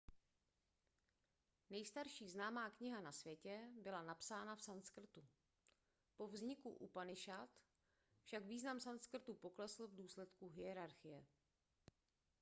nejstarší známá kniha na světě byla napsána v sanskrtu po vzniku upanišad však význam sanskrtu poklesl v důsledku hierarchie